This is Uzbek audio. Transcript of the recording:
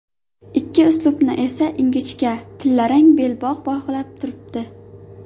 Ikki uslubni esa ingichka tillarang belbog‘ bog‘lab turibdi.